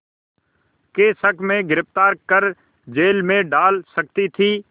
के शक में गिरफ़्तार कर जेल में डाल सकती थी